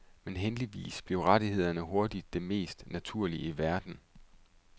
Men heldigvis blev rettighederne hurtigt det mest naturlige i verden.